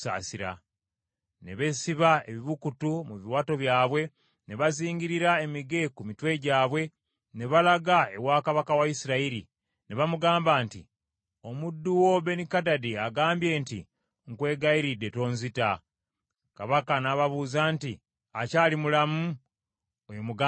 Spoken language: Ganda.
Ne beesiba ebibukutu mu biwato byabwe, ne bazingirira emige ku mitwe gyabwe, ne balaga ewa kabaka wa Isirayiri, ne bamugamba nti, “Omuddu wo Benikadadi agamba nti, ‘Nkwegayiridde tonzita.’ ” Kabaka n’ababuuza nti, “Akyali mulamu? Oyo muganda wange.”